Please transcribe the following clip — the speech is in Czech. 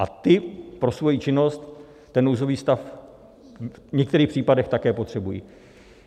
A ti pro svoji činnost ten nouzový stav v některých případech také potřebují.